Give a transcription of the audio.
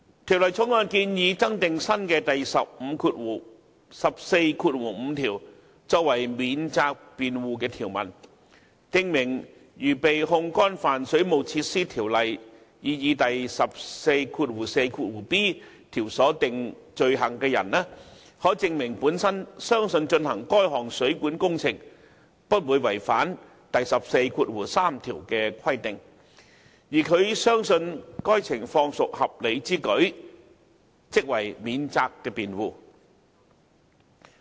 《條例草案》建議增訂新的第145條作為法定免責辯護條文，訂明如被控干犯《水務設施條例》擬議第 144b 條所訂罪行的人可證明本身相信進行該項水管工程不會違反第143條的規定，而他相信該情況屬合理之舉，即為免責辯護。